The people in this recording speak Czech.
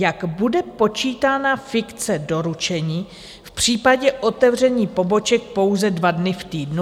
Jak bude počítána fikce doručení v případě otevření poboček pouze dva dny v týdnu?